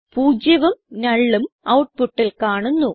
പൂജ്യവും nullഉം ഔട്ട്പുട്ടിൽ കാണുന്നു